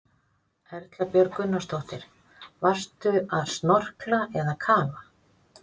Erla Björg Gunnarsdóttir: Varstu að snorkla eða kafa?